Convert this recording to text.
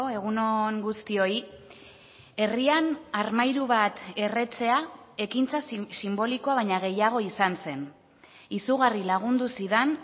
egun on guztioi herrian armairu bat erretzea ekintza sinbolikoa baina gehiago izan zen izugarri lagundu zidan